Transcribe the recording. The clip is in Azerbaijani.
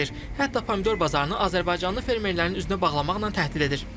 Hətta pomidor bazarını azərbaycanlı fermerlərin üzünə bağlamaqla təhdid edir.